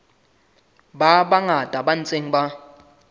ba bangata ba ntseng ba